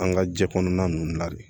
An ka jɛ kɔnɔna ninnu na de